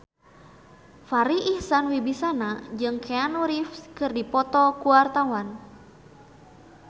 Farri Icksan Wibisana jeung Keanu Reeves keur dipoto ku wartawan